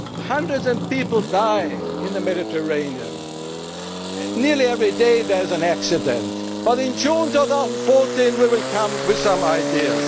work. Hundreds of people die in the Mediterranean nearly every day there is an accident but in June 2014 we will come with